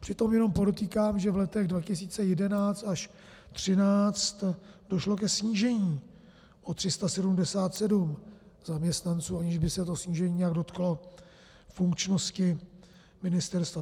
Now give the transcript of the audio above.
Přitom jenom podotýkám, že v letech 2011 až 2013 došlo ke snížení o 377 zaměstnanců, aniž by se to snížení nějak dotklo funkčnosti ministerstva.